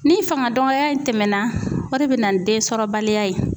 Ni fangadɔgɔya in tɛmɛna o de bɛ na ni den sɔrɔ baliya ye.